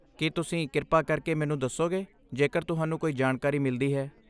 ਕੀ ਤੁਸੀਂ ਕਿਰਪਾ ਕਰਕੇ ਮੈਨੂੰ ਦੱਸੋਗੇ ਜੇਕਰ ਤੁਹਾਨੂੰ ਕੋਈ ਜਾਣਕਾਰੀ ਮਿਲਦੀ ਹੈ?